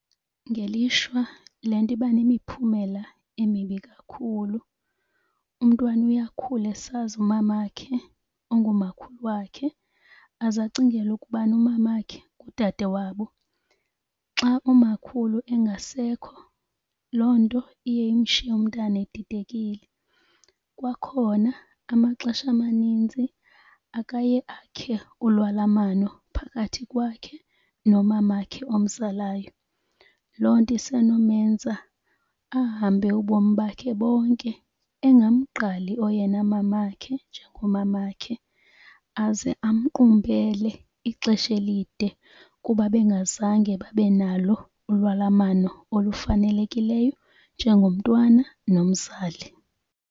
Ngelishwa le nto iba nemiphumela emibi kakhulu. Umntwana uye akhule esazi umamakhe ongumakhulu wakhe aze acingele ukubana umamakhe ngudade wabo. Xa umakhulu engasekho loo nto iye imshiye umntana edidekile. Kwakhona amaxesha amaninzi akaye akhe ulwalamano phakathi kwakhe nomamakhe omzalayo. Loo nto isenomenza ahambe ubomi bakhe bonke egamgqali oyena mamakhe njengomamakhe aze amqumbele ixesha elide kuba bengazange babe nalo ulwalamano olufanelekileyo njengomntwana nomzali.